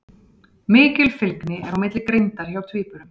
Mikil fylgni er á milli greindar hjá tvíburum.